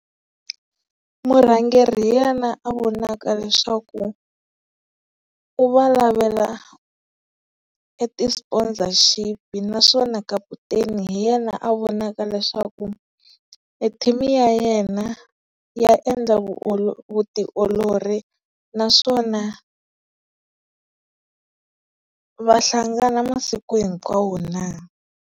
Murhangeri hi yena a vonaka leswaku u va lavela e ti-sponsorship, naswona kaputeni hi yena a vonaka leswaku e team ya yena ya endla vutiolori naswona va hlangana masiku hinkwawo na.